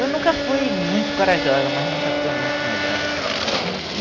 Eu nunca fui muito corajosa, mas nunca fui muito medrosa.